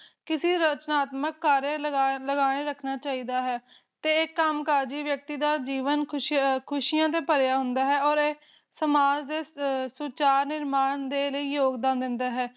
ਕਿਸੇ ਦੌ ਧਨਾਤਮਕ ਕਾਰਨ ਲਗਾਤਾਰ ਬਣਾਈ ਰੱਖਣਾ ਚਾਹੀਦਾ ਹੈ ਤੇ ਇਹ ਕੰਮ ਕਾਰ ਦੀ ਵਿਅਕਤੀ ਦਾ ਜੀਵਨ ਖ਼ੁਸ਼ੀਆਂ ਦਾ ਭਰਿਆ ਹੁੰਦਾ ਹੈ ਓਰ ਇਹ ਸਮਾਜ ਦੇ ਸੁਚਾਰ ਨਿਰਮਾਣ ਲਈ ਯੋਗਦਾਨ ਦਿੰਦਾ ਹੈ